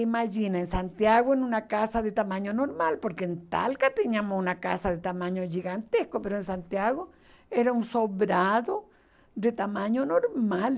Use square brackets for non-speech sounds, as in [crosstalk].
Imagina, em Santiago, em uma casa de tamanho normal, porque em Talca tínhamos uma casa de tamanho gigantesco, [unintelligible] em Santiago era um sobrado de tamanho normal.